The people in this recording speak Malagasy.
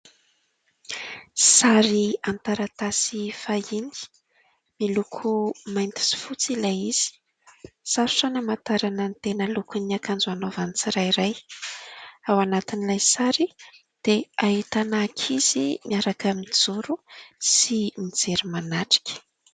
Sary an-taratasy fahiny, miloko mainty sy fotsy ilay izy. Sarotra ny hamatarana ny tena lokon'ny akanjo anaovany tsirairay. Ao anatin'ilay sary dia ahitana ankizy miaraka mijoro sy mijery manatrika.